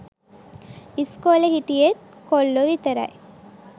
ඉස්කෝලෙ හිටියෙ‍ත් කොල්ලෝ විතරයි